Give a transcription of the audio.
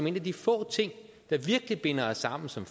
en af de få ting der virkelig binder os sammen som